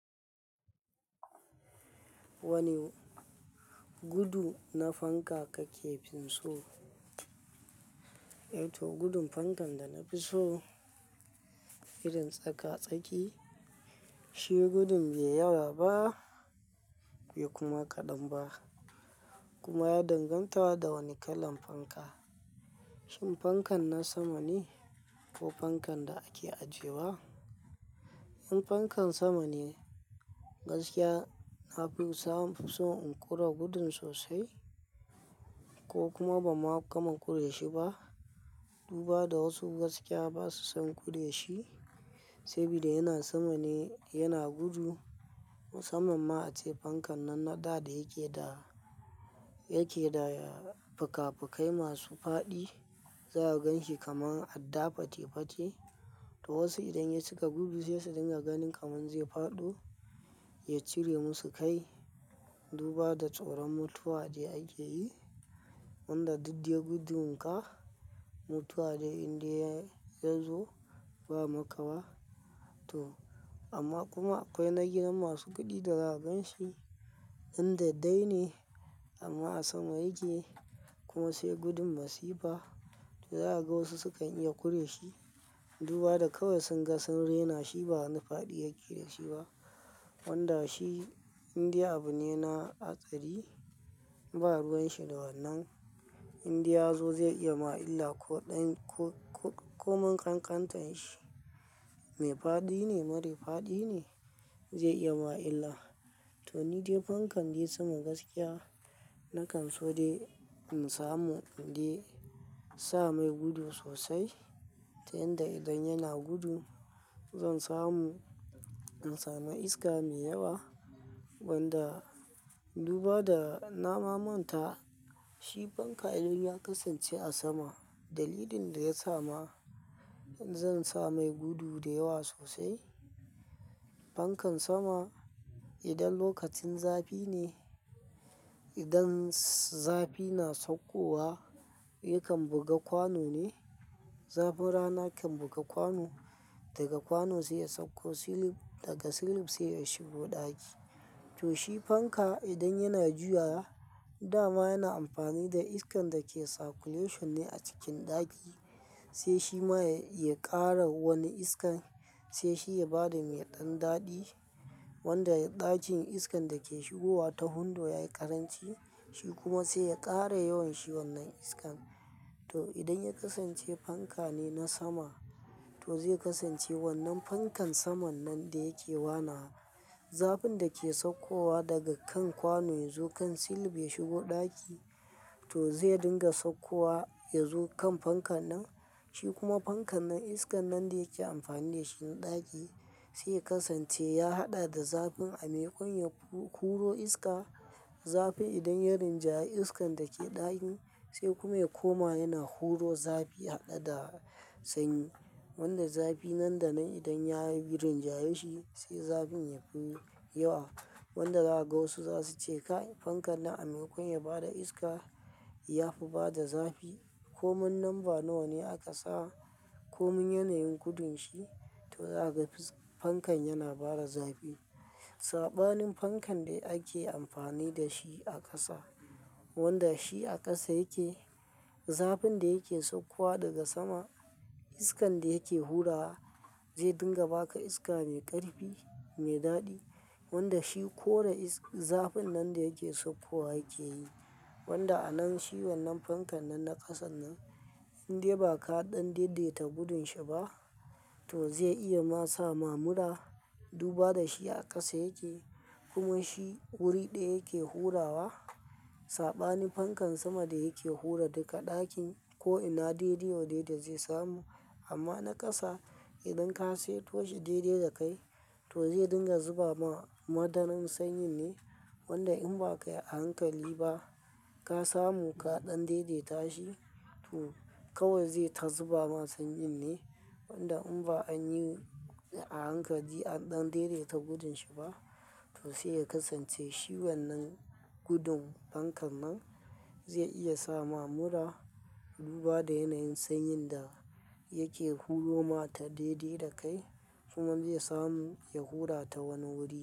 Wani gudu na fanka ka ke finso? Eh to gudun fankan da na fi so irin tsaka-tsaki, shi gudu bai yawa ba bai kuma ƙadan ba kuma ya danganta da wane kalan fanka. Shin fankan na sama ne ko fankan da ake ajiye wa? In fankan sama ne gaskiya na fi so in kura gudun sosai ko kuma ba ma kaman kurashi ba. Duba da wasu gaskiya ba su son kurashi saboda yana sama ne yana gudu. Musamman ma ace fankan nan na da da yake da yake da fika-fikai masu faɗi. Za a gan shi kamar adda fate-fate. To wasu idan ya cika gudu sai su dinga ganin kamar zai faɗo, ya cire musu kai. Duba da tsoron mutuwa da ake yi wanda duk da gudun ka, mutuwa dai indai ya zo ba ma ka ba. To amma kuma akwai nagina masu guɗi da za a gan shi inda dai ne amma a sama yake. Kuma sai gudun masifa da za a ga wasu sukan iya kurashi. Duba da kawai sun ga sun rena shi ba wani faɗi yake da shi ba. Wanda shi indai abu ne na hatsari ba ruwan shi da wanan. In dai ya zo zai iya ma illa ko ɗan ko-ko-komin ƙanƙantar shi. Me faɗi ne, mari faɗi ne zai iya ma illa. To ni dai fankan da ya samu gaskiya, na kan so dai in samu in dai sa mai gudu sosai ta yanda idan yana gudu zan samu in samu iska mai yawa. Wanda duba da na ma manta shi fanka idan ya kasance a sama, dalilin da ya sa ma in zan sa mai gudu da yawa sosai. Fankan sama idan lokacin zafi ne, idan zafi na saukowa yakan buga kwano ne. Zafin rana kan buga kwano, daga kwano sai ya sauko silif, daga silif sai ya shigo ɗaki. To shi fanka idan yana juya dama yana amfani da iskan da ke circulation ne a cikin ɗaki. Sai shi ma ya ƙara wani iskan sai shi ya ba da mai ɗan daɗi wanda ɗakin iskan da ke shigowa ta hundo ya yi ƙaranci. Shi kuma sai ya ƙara yawan shi wannan iskan. To idan ya kasance fanka ne na sama to zai kasance wannan fankan saman nan da yake wana. Zafin da ke saukowa daga kan kwano ya zo kan silif ya shigo ɗaki to zai dinga saukowa ya zo kan fankan nan. Shi kuma fankan nan iskan nan da yake amfani da shi ɗaki sai ya kasance ya haɗa da zafin a mai ƙuna kuro iska. Zafin idan ya rinjayi iskan da ke ɗakin sai kuma ya koma yana kuro zafi haɗe da sanyi. Wanda zafi nan da nan idan ya rinjaye shi sai zafin ya fi yawa. Wanda za a ga wasu za su ce ka yi fankan nan a mai ƙone ya bada iska ya fi bada zafi. Komin lamba nawa ne aka sa komin yanayin gudun shi to za a ga fankan yana bada zafi. Saɓanin fankan da ake amfani da shi a ƙasa wanda shi a ƙasa yake, zafin da yake saukowa daga sama iskan da yake hura zai dinga ba ka iska mai ƙarfi mai daɗi. Wanda shi kore is-- zafin nan da yake saukowa yake yi. Wanda a nan shi wannan fankan nan na ƙasan nan in dai ba kaɗan daidaita gudun shi ba to zai iya ma sa mamura. Duba da shi a ƙasa yake kuma shi wuri ɗaya yake hurawa. Saɓanin fankan sama da yake hura duka ɗakin ko ina daidai wa daidai zai samu. Amma na ƙasa idan ka sai toh shi daidai da kai to zai dinga zuba ma madaran sanyin ne. Wanda in ba kayi a hankali ba ka samu kaɗan daidaita shi to kawai zai ta zuba ma sanyin ne. Wanda in ba an yi a hankali aɗɗan daidaita gudun shi ba to sai ya kasance shi wannan gudun fankan nan zai iya sa ma mura. Duba da yanayin sanyin da yake huro ma ta daidai da kai kuma zai samu ya hura ta wani wuri.